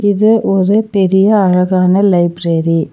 இது ஒரு பெரிய அழகான லைப்ரேரி .